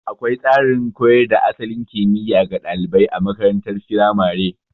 Akwai tsarin koyar da asalin kimiya ga ɗalibai a makarantar firamare.